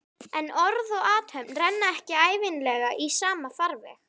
En orð og athöfn renna ekki ævinlega í sama farveg.